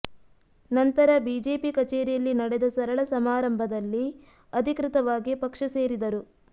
ನಂತರ ಬಿಜೆಪಿ ಕಚೇರಿಯಲ್ಲಿ ನಡೆದ ಸರಳ ಸಮಾರಂಭದಲ್ಲಿ ಅಧಿಕೃತವಾಗಿ ಪಕ್ಷ ಸೇರಿದರು